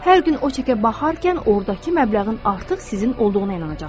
Hər gün o çekə baxarkən ordakı məbləğin artıq sizin olduğuna inanacaqsınız.